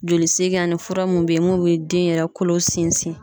Joli segin ani fura mun be yen n'o be den yɛrɛ kolo sinsin.